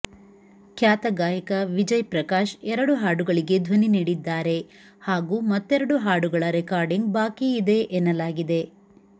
ಖ್ಯಾತ ಗಾಯಕ ವಿಜಯ ಪ್ರಕಾಶ್ ಎರಡು ಹಾಡುಗಳಿಗೆ ಧ್ವನಿ ನೀಡಿದ್ದಾರೆ ಹಾಗೂ ಮತ್ತೆರಡು ಹಾಡುಗಳ ರೆಕಾರ್ಡಿಂಗ್ ಬಾಕಿ ಇದೆ ಎನ್ನಲಾಗಿದೆ